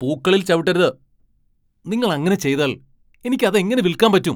പൂക്കളിൽ ചവിട്ടരുത്! നിങ്ങൾ അങ്ങനെ ചെയ്താൽ എനിക്ക് അതെങ്ങനെ വിൽക്കാൻ പറ്റും !